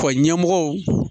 Ɔ ɲɛmɔgɔw